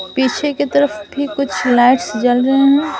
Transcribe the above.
पीछे की तरफ भी कुछ लाइट्स जल रहे हैं ।